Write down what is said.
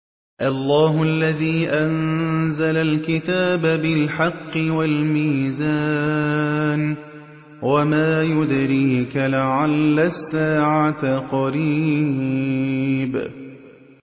اللَّهُ الَّذِي أَنزَلَ الْكِتَابَ بِالْحَقِّ وَالْمِيزَانَ ۗ وَمَا يُدْرِيكَ لَعَلَّ السَّاعَةَ قَرِيبٌ